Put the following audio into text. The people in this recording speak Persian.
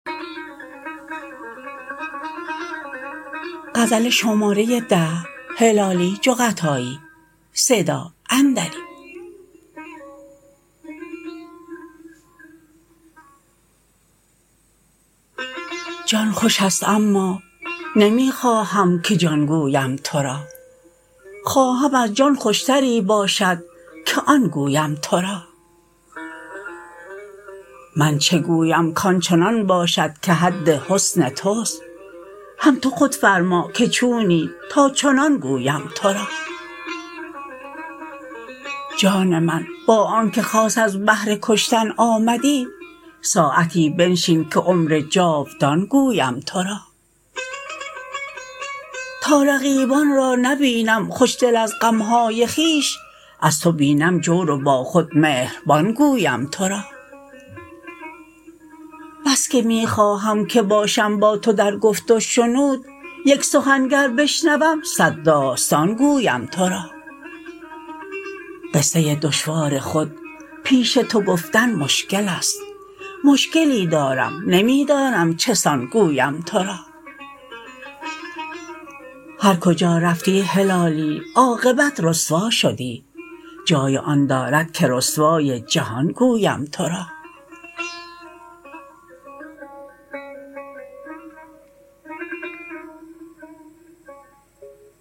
جان خوشست اما نمیخواهم که جان گویم ترا خواهم از جان خوشتری باشد که آن گویم ترا من چه گویم کانچنان باشد که حد حسن تست هم تو خود فرماکه چونی تا چنان گویم ترا جان من با آنکه خاص از بهر کشتن آمدی ساعتی بنشین که عمر جاودان گویم ترا تا رقیبان را نبینم خوشدل از غمهای خویش از تو بینم جور و با خود مهربان گویم ترا بسکه میخواهم که باشم با تو در گفت و شنود یک سخن گر بشنوم صد داستان گویم ترا قصه دشوار خود پیش تو گفتن مشکلست مشکلی دارم نمیدانم چه سان گویم ترا هر کجا رفتی هلالی عاقبت رسوا شدی جای آن دارد که رسوای جهان گویم ترا